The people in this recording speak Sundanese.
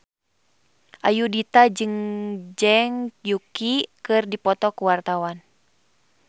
Ayudhita jeung Zhang Yuqi keur dipoto ku wartawan